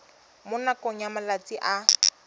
mo nakong ya malatsi a